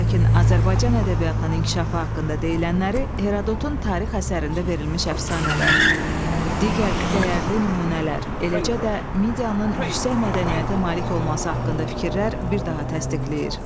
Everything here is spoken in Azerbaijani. Lakin Azərbaycan ədəbiyyatının inkişafı haqqında deyilənləri Herodotun tarix əsərində verilmiş əfsanələr, digər dəyərli nümunələr, eləcə də Medianın yüksək mədəniyyətə malik olması haqqında fikirlər bir daha təsdiqləyir.